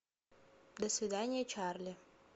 до свидания чарли